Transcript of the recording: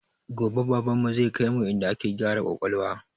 Gobe baban mu zai kaimu inda ake gyara kwakwalwa